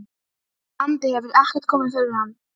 andi hefur ekkert komið fyrir hana.